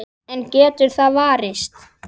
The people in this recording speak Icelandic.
En getur það varist?